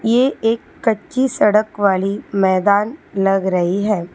ये एक कच्ची सड़क वाली मैदान लग रही है।